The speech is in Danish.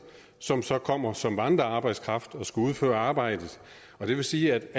som så kommer som vandrearbejdskraft og skal udføre arbejdet og det vil sige